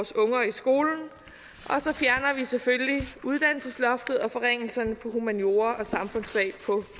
skolen og så fjerner vi selvfølgelig uddannelsesloftet og forringelserne på humaniora og samfundsfag på